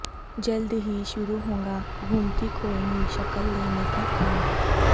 جلد ہی شروع ہوگا گومتی کو نئی شکل دینے کاکا م